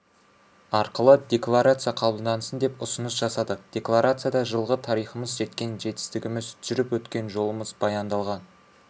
арқылы декларация қабылдансын деп ұсыныс жасадық декларацияда жылғы тарихымыз жеткен жетістігіміз жүріп өткен жолымыз баяндалған